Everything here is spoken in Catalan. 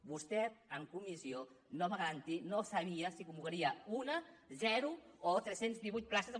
vostè en comissió no sabia si convocaria una zero o tres cents i divuit places de